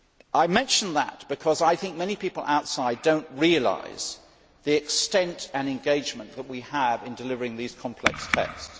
I mention that because I think many people outside do not realise the extent and engagement that we have in delivering these complex texts.